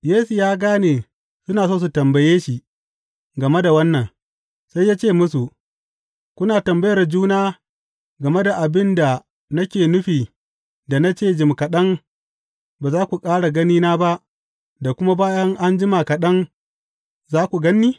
Yesu ya gane suna so su tambaye shi game da wannan, sai ya ce musu, Kuna tambayar juna game da abin da nake nufi da na ce, Jim kaɗan ba za ku ƙara ganina ba, da kuma bayan an jima kaɗan, za ku gan ni’?